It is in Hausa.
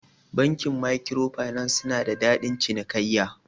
Bankin maikwiro finas suna da dadin cinikaiya.